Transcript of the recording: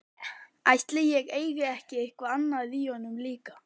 Ætli ég eigi ekki eitthvað í honum líka.